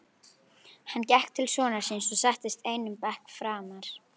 Hann gekk til sonar síns og settist einum bekk framar.